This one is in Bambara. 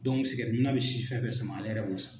sikɛriti minna bɛ sisi fɛn fɛn sama ale yɛrɛ b'o sama.